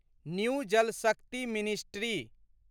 new Jal Shakti ministry